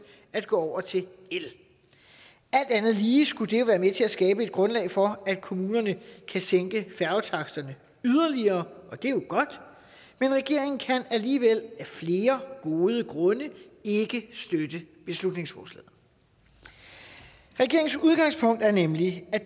at gå over til el alt andet lige skulle det være med til at skabe et grundlag for at kommunerne kan sænke færgetaksterne yderligere og det er jo godt men regeringen kan alligevel af flere gode grunde ikke støtte beslutningsforslaget regeringens udgangspunkt er nemlig at